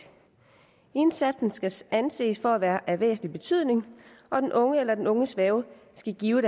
indsatsen skal anses for at være af væsentlig betydning og den unge eller den unges værge skal give